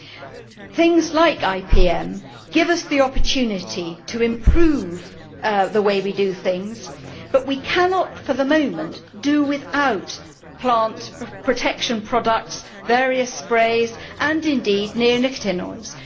Developments like IPM give us the opportunity to improve the way we do things, but we cannot for the moment do without plant protection products, various sprays and indeed neonicotinoids.